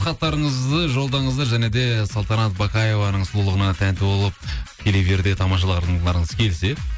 хаттарыңызды жолдаңыздар және де салтанат бақаеваның сұлулығына тәнті болып тікелей эфирде тамашалағыларыңыз келсе